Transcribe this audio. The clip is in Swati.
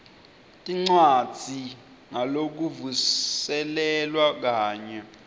tincwadzi ngalokuvuselelwa kanye